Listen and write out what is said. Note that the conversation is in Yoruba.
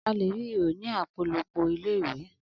Alè ri ihò ní apolopo ilé iwe